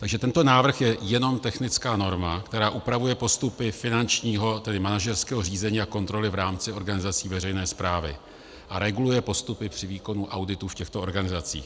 Takže tento návrh je jenom technická norma, která upravuje postupy finančního, tedy manažerského řízení a kontroly v rámci organizací veřejné správy a reguluje postupy při výkonu auditu v těchto organizacích.